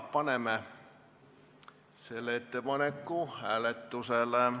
Panen selle ettepaneku hääletusele.